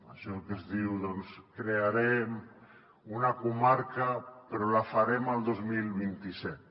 això que es diu crearem una comarca però la farem el dos mil vint set